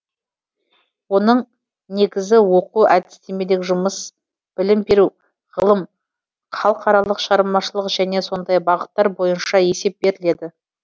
оның негізі оқу әдістемелік жұмыс білім беру ғылым халықаралық шығармашылық және сондай бағыттар бойынша есеп беріледі